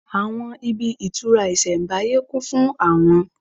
Àwọn ibi ìtura isembáyé kún fún àwọn